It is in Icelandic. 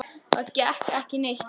Það gekk ekki neitt.